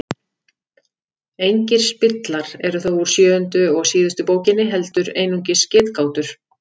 Engir spillar eru þó úr sjöundu og síðustu bókinni heldur einungis getgátur.